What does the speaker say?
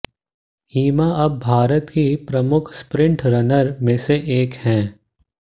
हिमा अब भारत की प्रमुख स्प्रिंट रनर में से एक हैं